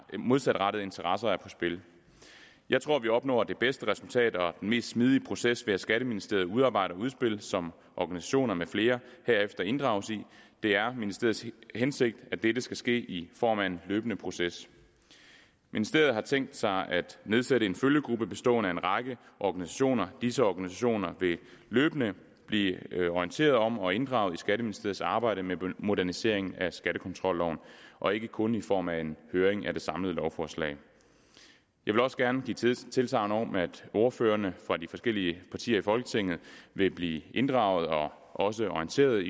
modsatrettede interesser er på spil jeg tror vi opnår det bedste resultat og den mest smidige proces ved at skatteministeriet udarbejder et udspil som organisationer med flere herefter inddrages i det er ministeriets hensigt at dette skal ske i form af en løbende proces ministeriet har tænkt sig at nedsætte en følgegruppe bestående af en række organisationer disse organisationer vil løbende blive orienteret om og inddraget i skatteministeriets arbejde med modernisering af skattekontrolloven og ikke kun i form af en høring af det samlede lovforslag jeg vil også gerne give tilsagn tilsagn om at ordførerne fra de forskellige partier i folketinget vil blive inddraget og også orienteret